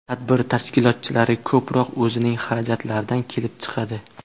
Tadbir tashkilotchilari ko‘proq o‘zining xarajatlaridan kelib chiqadi.